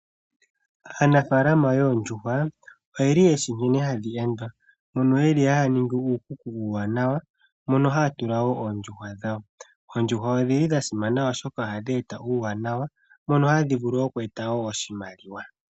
Aanafaalama yoondjuhwa oyeli yeshi nkene hadhi endwa mono yeli haaningi uukuku uuwanawa mono haa tula woo oondjuhwa dhawo. Oondjuhwa ondhili dhasimana oshoka ohandhi eta uuwanawa mono hadhi vulu oku eta woo oshimaliwa.